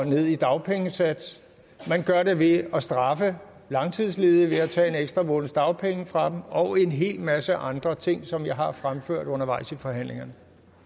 ned i dagpengesats og man gør det ved at straffe langtidsledige ved at tage en ekstra måneds dagpenge fra dem og en hel masse andre ting som jeg har fremført undervejs i forhandlingerne